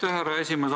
Aitäh, härra esimees!